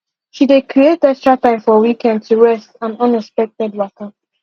she dey creat extra time for weekend to rest and unexpected waka